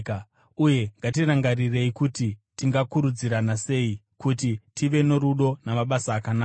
Uye ngatirangarirei kuti tingakurudzirana sei kuti tive norudo namabasa akanaka.